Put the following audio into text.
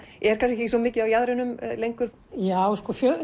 er kannski ekki svo mikið á jaðrinum lengur já